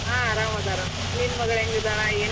ಹಾ ಅರಾಮ ಅದಾರ. ನಿನ್ನ ಮಗ್ಳ ಹೆಂಗಿದಾಳ .